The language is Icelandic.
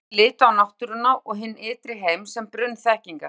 Endurreisnarmenn litu á náttúruna og hinn ytri heim sem brunn þekkingar.